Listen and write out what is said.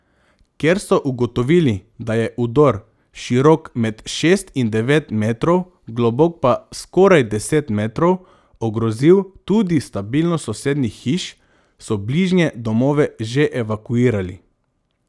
Ker so ugotovili, da je udor, širok med šest in devet metrov, globok pa skoraj deset metrov, ogrozil tudi stabilnost sosednjih hiš, so bližnje domove že evakuirali.